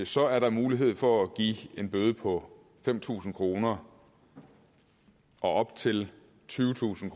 så er der mulighed for at give en bøde på fem tusind kroner og op til tyvetusind